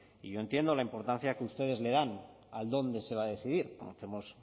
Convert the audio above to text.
y yo entiendo la importancia que ustedes le dan al dónde se va a decidir agradecemos